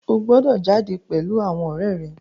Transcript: O gbọdọ̀ jáde pèlú àwọn ọ̀rẹ́ rẹ.